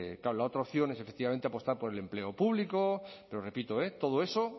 claro la otra opción es efectivamente apostar por el empleo público pero repito eh todo eso